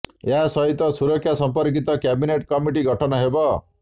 ଏହା ସହିତ ସୁରକ୍ଷା ସମ୍ପର୍କିତ କ୍ୟାବିନେଟ କମିଟି ଗଠନ ହେବ